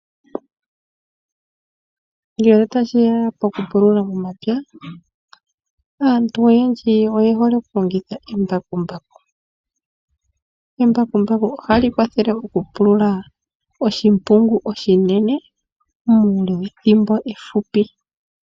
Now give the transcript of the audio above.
Ngele tashi ya pokupulula momapya, aantu oyendji oye hole okulongitha embakumbaku. Embakumbaku ohali kwathele okupulula oshimpungu oshinene muule wethimbo efupi.